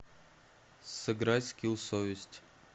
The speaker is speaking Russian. сыграть в скилл совесть